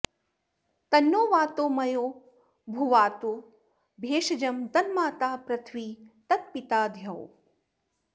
तन्नो वातो मयोभु वातु भेषजं तन्माता पृथिवी तत्पिता द्यौः